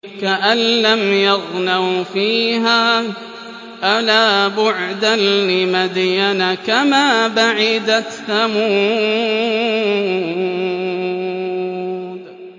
كَأَن لَّمْ يَغْنَوْا فِيهَا ۗ أَلَا بُعْدًا لِّمَدْيَنَ كَمَا بَعِدَتْ ثَمُودُ